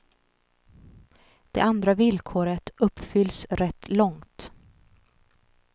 Det andra villkoret uppfylls rätt långt.